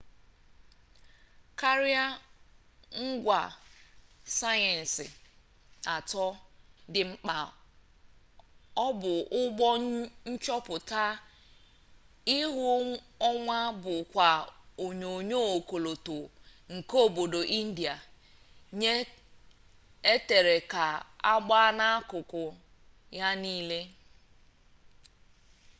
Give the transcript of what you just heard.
karịa ngwa sayensị atọ dị mkpa o bu ụgbọ nchọpụta ihu ọnwa bukwa onyonyo ọkọlọtọ nke obodo india nke etere ka agba n'akụkụ ya nile